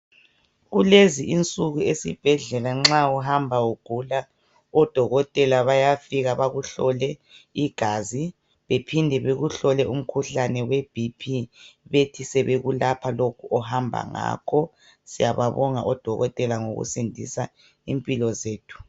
Kulezi insuku esibhedlela nxa uhamba ugula odokotela bayafika bakuhlole igazi bephinde bekuhlole umkhuhlane weBP, bethi sebekulapha lokhu ohamba ngakho. Siyababonga odokotela ngokusindisa impilo zethu.